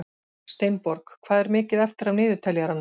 Steinborg, hvað er mikið eftir af niðurteljaranum?